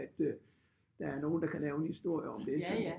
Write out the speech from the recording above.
At øh at der er nogen der kan lave en historie om det